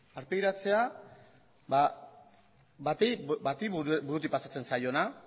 aurpegiratzea bati burutik pasatzen zaiona